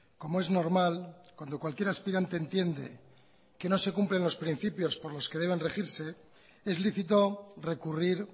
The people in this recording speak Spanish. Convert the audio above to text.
como es normal cuando cualquier aspirante entiende que no se cumplen los principios por los que deban regirse es lícito recurrir